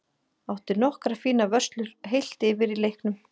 Átti nokkrar fínar vörslur heilt yfir í leiknum.